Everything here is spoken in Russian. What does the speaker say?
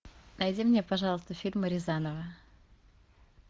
найди мне пожалуйста фильмы рязанова